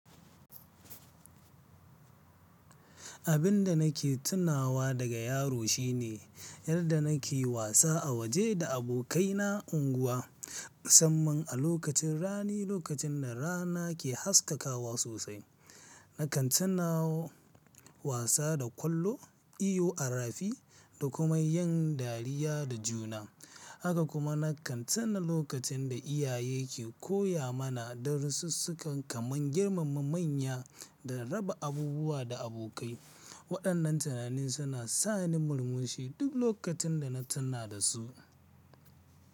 Abin da nake tunawa daga yarinta shine yadda nake wasa a waje da abokaina na unguwa, musamman a lokacin Rani lokacin da Rana ke haskakawa sosai. Nakan tuna wasa da kwallo, Iyo a Rafi da kuma yin dariya da juna. Haka kuma nakan tuna lokacin da iyaye ke koya mana darussuka kamar girmama manya da raba abubuwa da abokai. Waɗannan tunanin suna sa ni murmushi duk lokacin da na tuna da su.